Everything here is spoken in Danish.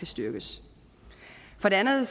styrkes for andet